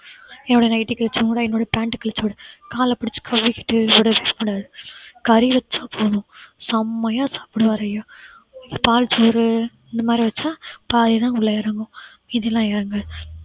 என்னோட nightly கிழிச்சு விடும் என்னோட pant அ கிழிச்சு விடும். கால பிடிச்சு கடிச்சுட்டு ஓடிடும் கறி வெச்சா போதும் செம்மையா சாப்பிடுவாரு அய்யா பால் சோறு இந்த மாதிரி வச்சா பாதி தான் உள்ள இறங்கும் மீதி எல்லாம் இறங்காது